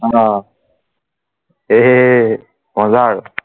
অ হে হে মজা আৰু